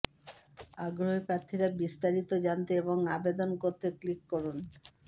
আগ্রহী প্রার্থীরা বিস্তারিত জানতে এবং আবেদন করতে ক্লিক করুন